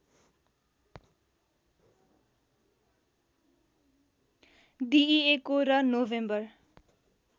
दिइएको र नोभेम्बर